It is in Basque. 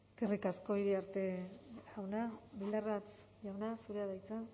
eskerrik asko iriarte jauna bildarratz jauna zurea da hitza